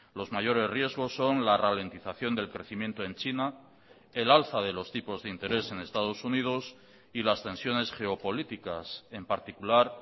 los mayores riesgos son la ralentización del crecimiento en china el alza de los tipos de interés en estados unidos y las tensiones geopolíticas en particular